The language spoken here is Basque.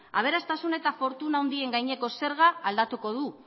aberastasun eta fortuna handien zerga aldatuko du